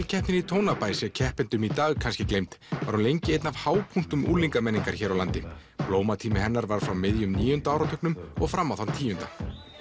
keppnin í Tónabæ sé keppendum í dag kannski gleymd var hún lengi einn af hápunktum unglinga menningar hér á landi blómatími hennar var frá miðjum níunda áratugnum og fram á þann tíunda